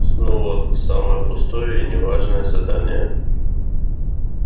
снова самое пустое и не важное задание